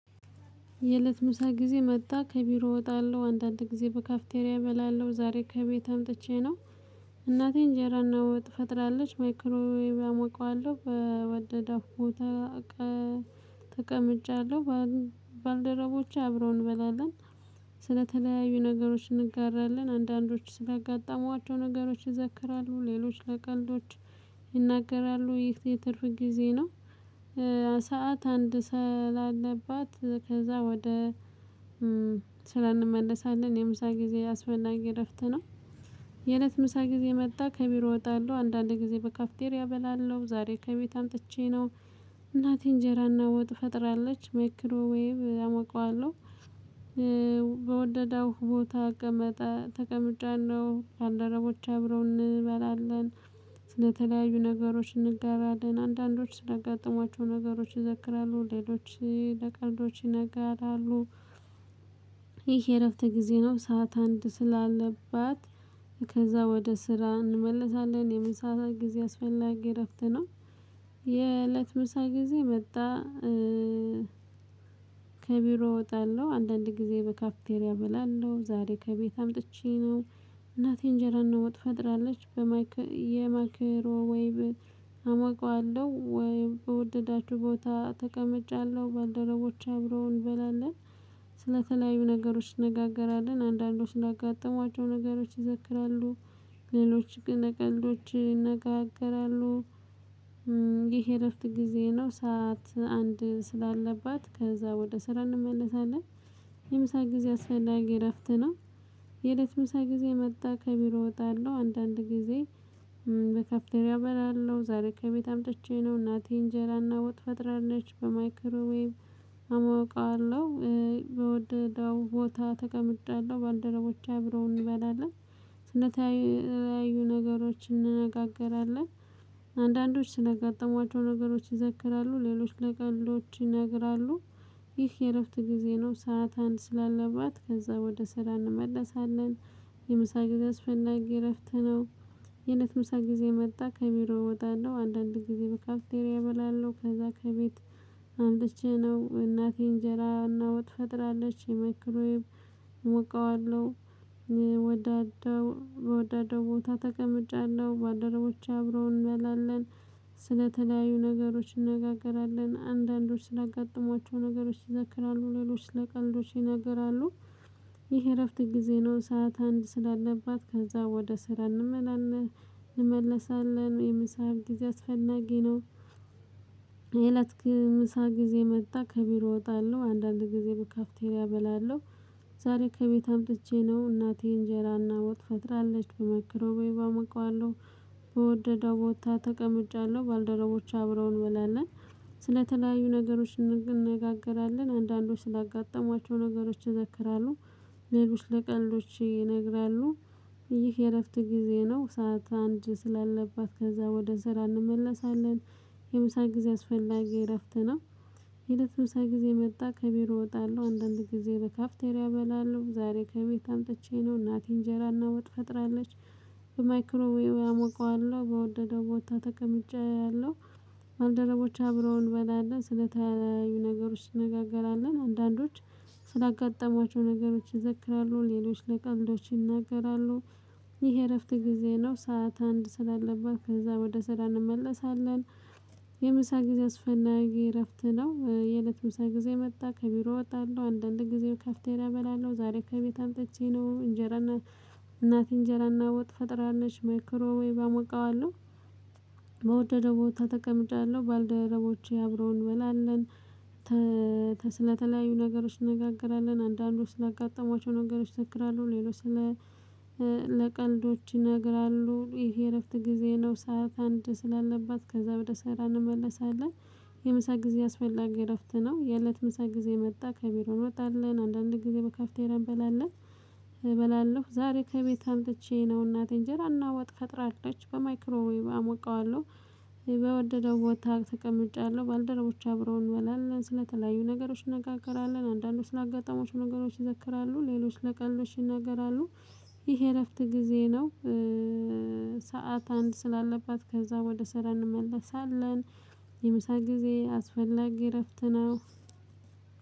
የእለት ምሳ ጊዜ መጣ ከቢሮ ወጣለሁ አንዳንድ ጊዜ በካፍቴሪያ እበላለሁ ዛሬ ከቤት አምጥቼ ነው። እናቴ እንጀራ እና ወጥ ፈጥራለች ማይክሮ ወይም አሞቀዋለሁ በወደደፉ። ተቀምጫለሁ ባልደረቦች አብረው እንበላለን። ስለተለያዩ ነገሮች እንጋራለን አንዳንዶች ስላጋጠሟቸው ነገሮች ይዘክራሉ ሌሎች ለቀልዶች ይናገራሉ የትርፍ ጊዜ ነው። ሰዓት አንድ ሰዓት ስላለባት ከዛ ወደ ስራ እንመለሳለን የምሳ ጊዜ አስፈላጊ እረፍት ነው። የእለት ምሳ ጊዜ መጣ ከቢሮ ወጣለሁ አንዳንድ ጊዜ በካፍቴሪያ በላለው ዛሬ ከቤት አምጥቼ ነው። እናቴ እንጀራና ወጥ ፈጥራለች መክሮ ወይ አሞቃዋለሁ። በወደደው ቦታ ተቀምጭያለሁ ባልደረቦች አብረው እንበላለን። ስለተለያዩ ነገሮች እንጋራለን አንዳንዶች ስለጋጠሟቸው ነገሮች ይዘክራሉ ሌሎች ለቀልዶች ይነጋራሉ። ይሄ የእረፍት ጊዜ ነው ሰዓት አንድ ስላለባት ከዛ ወደ ስራ እንመልሳለን የምሳ ስዓት ጊዜ አስፈላጊ እረፍት ነው። የእለት ምሳ ጊዜ በጣ ከቢሮ እወጣለሁ አንዳንድ ጊዜ በካፒቴሪያ እበላለሁ ዛሬ ከቤት አምጥቼ ነው። እናቴ እንጀራ እና ወጥ ፈጥራለች። የማክሮ ወይብ አማቅዋለሁ ወይ በወደዳችሁ ቦታ ተቀምጫለሁ ባልደረቦች አብረው እንበላለን። ስለተለያዩ ነገሮች እንነጋገራለን አንዳንዶቹ ስላጋጥሟቸው ነገሮች ይዘክራሉ ሌሎች ግን ቀልዶች ይነጋገራሉ። ይህ እረፍት ጊዜ ነው ሰዓት አንድ ስላለባት ከዛ ወደ ስራ እንመለሳለን። የምሳ ጊዜ አስፈላጊ እረፍት ነው። የእለት ምሳ ጊዜ መጣ ከቢሮ እወጣለሁ አንዳንድ ጊዜ በካፍተሪያ እበላለሁ ዛሬ ከቤት አምጥቼ ነው እናቴ እንጀራና ወጥ ፈጥራለች በማይክሮዌብ አሞቀዋለሁ። በወደደው ቦታ ተቀምጭያለሁ ባልደረቦች አብረው እንበላለን። ስለተለያዩ ነገሮችን እንነጋገራለን። አንዳንዶች ስለጋጠሟቸው ነገሮች ይዘክራሉ ሌሎች ለቀልዶች ይነግራሉ። ይህ የእረፍት ጊዜ ነው ሰዓት አንድ ስላለባት ከዛ ወደ ስራ እንመለሳለን። የምሳ ጊዜ አስፈላጊ እረፍት ነው። የእነት ምሳ ጊዜ መጣ ከሚሮ እወጣለሁ አንዳንድ ጊዜ በካፕቴሪያ እበላለሁ ከዛ ከቤት አምጥቼ ነው እናቴ እንጀራ እና ወጥ ፈጥራለች የማይክሮወብ እሞቀዋለሁ ወዳደው ቦታ ተቀምጫለሁ ባልደረቦቼ አብረው እንበላለን። ስለተለያዩ ነገሮች እንነጋገራለን አንዳንዶች ስላጋጠሟቸው ነገሮች ይዘክራሉ ሌሎች ለቀልዶች ይናገራሉ። ይህ እረፍት ጊዜ ነው ሰዓት አንድ ስላለባት ከዛ ወደ ስራ እንመላለን እንመለሳለን ወይም ሰዓት ጊዜ አስፈናጊ ነው። የእለት ምሳ ጊዜ መጣ ከቢሮ እወጣለሁ አንዳንድ ጊዜ በካፍቴሪያ እበላለሁ። ዛሬ ከቤት አምጥቼ ነው እናቴ እንጀራና ወጥ ፈጥራለች በማይክሮውብ አሞቀዋለሁ። በወደደው ቦታ ተቀምጫለሁ ባልደረቦች አብረው እንበላለን። ስለተለያዩ ነገሮች እንነጋገራለን አንዳንዶች ስላጋጠሟቸው ነገሮች ይዘክራሉ። ነገሮች ለቀልዶች ይነግራሉ። ይህ የእረፍት ጊዜ ነው ሰዓት አንድ ስላለባት ከዛ ወደ ስራ እንመለሳለን። የምሳ ጊዜ አስፈላጊ እረፍት ነው። ሄደት ምሳ ጊዜ መጣ ከቢሮ እወጣለሁ አንዳንድ ጊዜ በካፍተርያ እበላለሁ ዛሬ ከቤት አምጥቼ ነው እናቴ እንጀራና ውጥ ፈጥራለች። በማይክሮዌውብ አሞቀዋለሁ በወደደው ቦታ ተቀምጫለሁ። ባልደረቦች አብረው እንበላለን ስለተያዩ ነገሮች ትነጋገራለን አንዳንዶች ስላጋጠሟቸው ነገሮች ይዘክራሉ ሌሎች ለቀልዶች ይናገራሉ። ይሄ እረፍት ጊዜ ነው ሰዓት አንድ ስላለበት ከዛ ወደ ስራ እንመለሳለን። የምሳ ጊዜ አስፈላጊ እረፍት ነው። የእለት ምሳ ጊዜ መጣ ከቢሮ እወጣለሁ አንድ አንድ ጊዜ ካፍተርያ እበላለሁ ዛሬ ከቤት አምጥቼ ነው እንጀራና እናቴ እንጀራና ወጥ ፈጥራለች ማይክሮዌብ አሞቃዋለሁ። በውደድ ቦታ ተቀምጭለሁ ባልደረቦቼ አብረው እንበላለን። ስለተለያዩ ነገሮች እንነጋገራለን አንዳንዶች ስላጋጠሟቸው ነገሮች ይዘክራሉ ሌሎች ስለ ለቀልዶች ይነግራሉ ይሄ እረፍት ጊዜ ነው ሰዓት አንድ ስላለባት ከዛ በደስታ እንመለሳለን። የምሳ ጊዜ አስፈላጊ እረፍት ነው። የእለት ምሳ ጊዜ መጣ ከቢሮ እንወጣለን አንዳንዴ ጊዜ በካፍተርያ እንበላለን። እበላለሁ ዛሬ ከቤት አምጥቼ ነው እናቴን እንጀራ እና ወጥ ፈጥራለች አለች በማይክሮዌብ አሞቃዋለሁ። በወደደው ወጥታ ተቀምጫለሁ ባልደረቦች አብረው እንበላለን ስለተለያዩ ነገሮች እናገራለን አንዳንዶቹ ለአጋጣሚዎቹ ነገሮች ይዘክራሉ ሌሎች ለቀሎች ይናገራሉ አሉ። ይሄ እረፍት ጊዜ ነው። ሰዓት አንድ ስላለባት ከዛ ወደ ስራ እንመለሳለን። የምሳ ጊዜ አስፈላጊ እረፍት ነው።